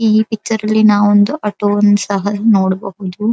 ಈ ಪಿಕ್ಚರಲ್ಲಿ ನಾವು ಒಂದು ಆಟೋವನ್ನು ಸಹ ನೋಡಬಹುದು.